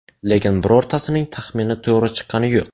Lekin birortasining taxmini to‘g‘ri chiqqani yo‘q.